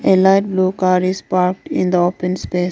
A light blue colour car is parked in the open space.